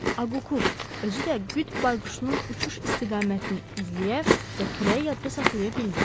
Akuk, özü də qıt bayquşunun uçuş istiqamətini izləyə və küləyi yadda saxlaya bildi.